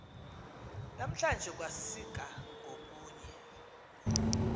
namhlanje kwasika ngokunye